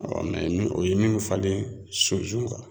ni o ye min falen sunsun kan